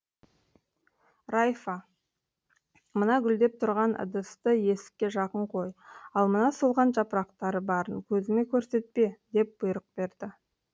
райфа мына гүлдеп тұрған ыдысты есікке жақын қой ал мына солған жапырақтары барын көзіме көрсетпе деп бұйрық берді